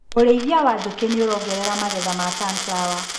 ũrĩithia wa njũkĩ nĩũrongerera magetha ma sunflawa.